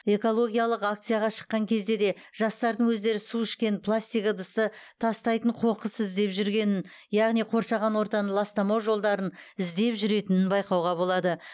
экологиялық акцияға шыққан кезде де жастардың өздері су ішкен пластик ыдысты тастайтын қоқыс іздеп жүргенін яғни қоршаған ортаны ластамау жолдарын іздеп жүретінін байқауға болады